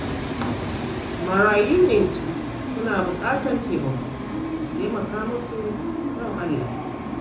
Marayu ne su, suna buƙatar taimako, ku taimaka musu don Allah